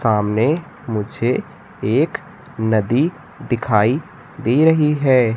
सामने मुझे एक नदी दिखाई दे रही है।